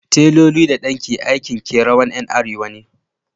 Taloli da danki aikin kerawan Yan arewa ne.